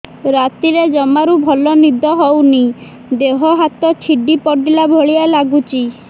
ରାତିରେ ଜମାରୁ ଭଲ ନିଦ ହଉନି ଦେହ ହାତ ଛିଡି ପଡିଲା ଭଳିଆ ଲାଗୁଚି